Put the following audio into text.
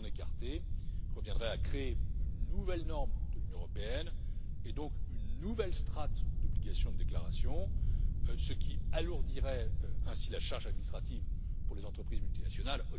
S'en écarter reviendrait à créer une nouvelle norme de l'Union européenne et, donc, une nouvelle strate d'obligation de déclaration, ce qui alourdirait ainsi la charge administrative pour les entreprises multinationales.